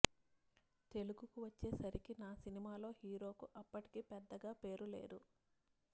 తెలుగుకు వచ్చే సరికి నా సినిమాలో హీరోకు అప్పటికీ పెద్దగా పేరు లేదు